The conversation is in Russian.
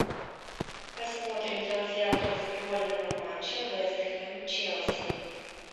посмотрим трансляцию футбольного матча вест хэм челси